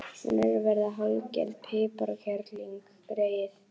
Hún er að verða hálfgerð piparkerling, greyið.